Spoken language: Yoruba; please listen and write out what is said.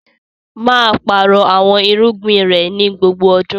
Maa páarọ̀ awọn irugbin rẹ ni gbogbo ọdún!